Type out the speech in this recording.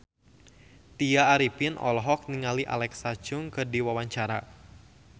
Tya Arifin olohok ningali Alexa Chung keur diwawancara